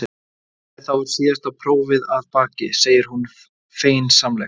Jæja, þá er síðasta prófið að baki, segir hún feginsamlega.